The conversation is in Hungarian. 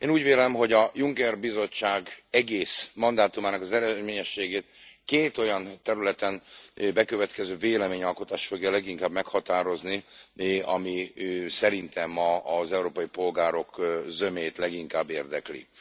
Én úgy vélem, hogy a Juncker bizottság egész mandátumának az eredményességét két olyan területen bekövetkező véleményalkotás fogja leginkább meghatározni, amely szerintem az európai polgárok zömét leginkább érdekli.